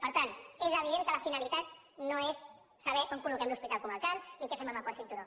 per tant és evident que la finalitat no és saber on colloquem l’hospital comarcal ni què fem amb el quart cinturó